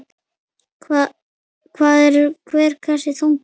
Hvað er hver kassi þungur?